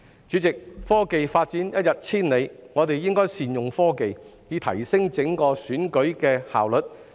主席，科技發展一日千里，我們應該善用科技，以提升整個選舉的效率。